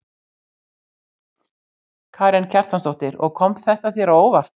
Karen Kjartansdóttir: Og kom þetta þér á óvart?